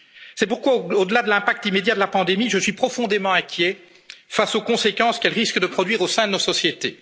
oubliés. C'est pourquoi, au delà de l'impact immédiat de la pandémie, je suis profondément inquiet face aux conséquences qu'elle risque de produire au sein de nos